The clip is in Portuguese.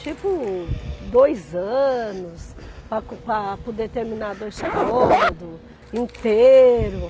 Tipo, dois anos para para poder terminar dois cômodos inteiros.